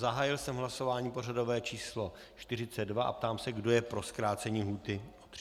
Zahájil jsem hlasování pořadové číslo 42 a ptám se, kdo je pro zkrácení lhůty o 30 dnů.